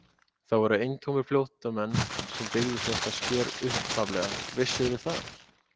Það voru eintómir flóttamenn sem byggðu þetta sker upphaflega, vissirðu það?